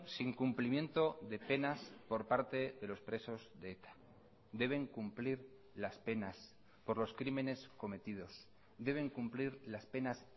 sin cumplimiento de penas por parte de los presos de eta deben cumplir las penas por los crímenes cometidos deben cumplir las penas